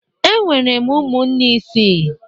Enwere m ụmụnne isii